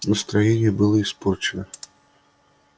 настроение было испорчено